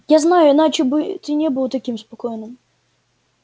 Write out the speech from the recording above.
я знаю иначе бы ты не был таким спокойным